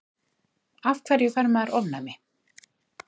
af hverju fær maður ofnæmi